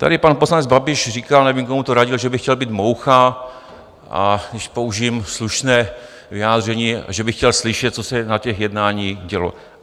Tady pan poslanec Babiš říkal, nevím, komu to radil, že by chtěl být moucha, a když použiji slušné vyjádření, že by chtěl slyšet, co se na těch jednání dělo.